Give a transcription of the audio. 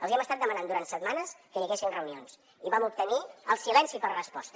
els hi hem estat demanant durant setmanes que hi haguessin reunions i vam obtenir el silenci per resposta